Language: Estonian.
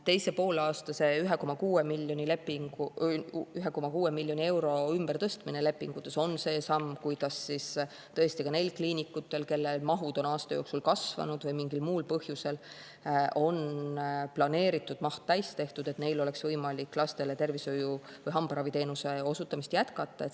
" Teise poolaasta 1,6 miljoni euro ümbertõstmine lepingutes on see samm, kuidas tõesti ka neil kliinikutel, kelle mahud on aasta jooksul kasvanud või mingil muul põhjusel on planeeritud maht täis, oleks võimalik lastele hambaraviteenuse osutamist jätkata.